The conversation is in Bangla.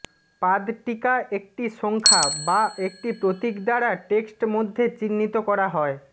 পাদটীকা একটি সংখ্যা বা একটি প্রতীক দ্বারা টেক্সট মধ্যে চিহ্নিত করা হয়